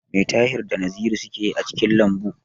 Me Tahir da Naziru suke yi a cikin lambu?